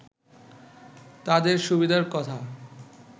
তাদের সুবিধার কথা